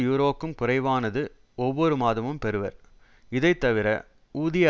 யூரோக்கும் குறைவானது ஒவ்வொரு மாதமும் பெறுவர் இதைத்தவிர ஊதிய